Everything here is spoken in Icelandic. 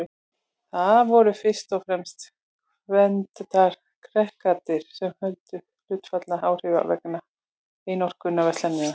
Það voru fyrst og fremst kreólarnir sem töldu sig hlunnfarna og áhrifalausa vegna einokunarverslunarinnar.